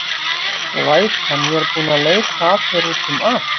Glætan, ég er búin að leita að þér út um allt.